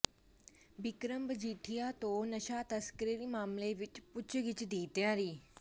ਬਿਕਰਮ ਮਜੀਠੀਆ ਤੋਂ ਨਸ਼ਾ ਤਸਕਰੀ ਮਾਮਲੇ ਵਿੱਚ ਪੁੱਛਗਿੱਛ ਦੀ ਤਿਆਰੀ